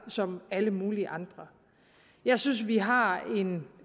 som alle mulige andre jeg synes vi har en